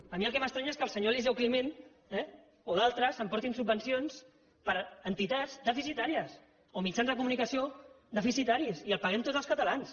a mi el que m’estranya és que el senyor eliseu climent eh o d’altres s’emportin subvencions per entitats deficitàries o mitjans de comunicació deficitaris i els paguem tots els catalans